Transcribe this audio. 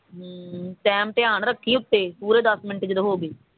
ਹਮ time ਧਿਆਨ ਰੱਖੀ ਉੱਤੇ ਪੂਰੇ ਦੱਸ ਮਿੰਟ ਜਦੋਂ ਹੋ ਗਏ